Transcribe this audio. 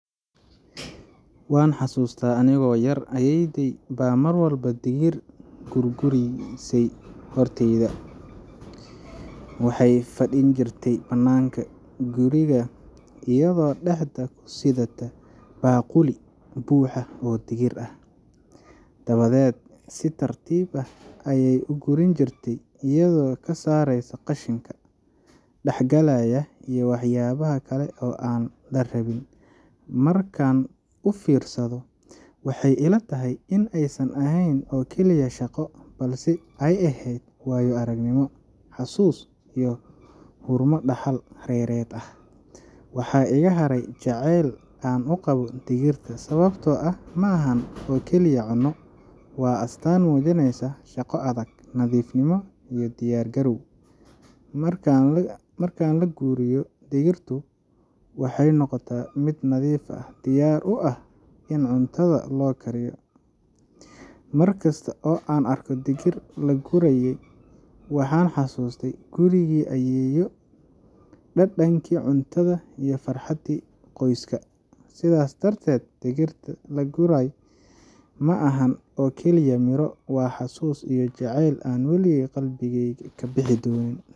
Waan xasuustaa anigoo yaraa, ayeeyaday baa mar walba digir guurguurisay hortayda. Waxay fadhin jirtay bannaanka guriga iyadoo dhexda ku sidata baaquli buuxa oo digir ah, dabadeed si tartiib ah ayay u guurin jirtay, iyadoo ka saaraysa qashinka, dhagaxgalaya iyo waxyaabaha kale ee aan la rabin. Markaan u fiirsado, waxay ila tahay in aysan ahayn oo kaliya shaqo, balse ay ahayd waayo aragnimo, xasuus iyo xurmo dhaxal reereed ah. Waxaa iga haray jacayl aan u qabo digirta, sababtoo ah ma ahan oo keliya cunno, waa astaan muujinaysa shaqo adag, nadiifnimo iyo diyaargarow. Marka la guuriyo, digirtu waxay noqotaa mid nadiif ah, diyaar u ah in cuntada loo kariyo. Mar kasta oo aan arko digir la guuriyay, waxaan xasuustaa gurigii ayeeyo, dhadhankii cuntada iyo farxaddii qoyska. Sidaas darteed, digirta la guuriyay ma ahan oo keliya miro, waa xasuus iyo jacayl aan weligey qalbigeyga ka bixi doonin.